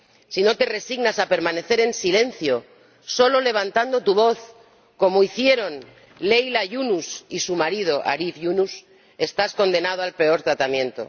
Si no te resignas a permanecer en silencio, solo levantando tu voz, como hicieron Leyla Yunus y su marido Arif Yunus, estás condenado al peor tratamiento.